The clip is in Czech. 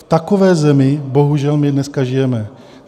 V takové zemi, bohužel, my dneska žijeme.